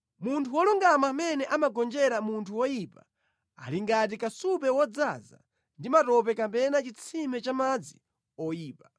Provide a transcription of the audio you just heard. Munthu wolungama amene amagonjera munthu woyipa ali ngati kasupe wodzaza ndi matope kapena chitsime cha madzi oyipa.